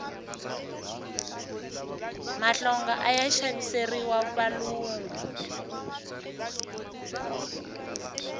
mahlonga aya xaviseriwa valungu